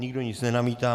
Nikdo nic nenamítá.